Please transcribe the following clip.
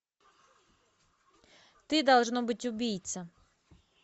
ты должно быть убийца